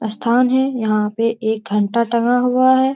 स्थान है। यहाँ पे एक घंटा टंगा हुआ है।